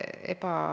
Tänan küsimuse eest!